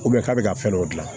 k'a bɛ ka fɛn dɔ dilan